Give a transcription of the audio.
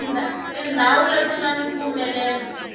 tindhawu leti nga ni mpfumelelo